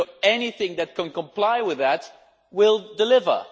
Anything that can comply with that will deliver.